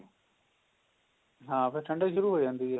ਹਾਂ ਫੇਰ ਠੰਡਕ ਸ਼ੁਰੂ ਹੋ ਜਾਂਦੀ ਹੈ